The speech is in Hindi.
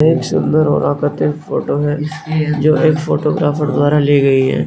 एक सुंदर और आकर्षित फोटो है जो एक फोटोग्राफर द्वारा ली गई है।